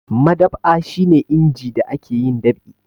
Madab'a shi ne inji da ake yin dab'i.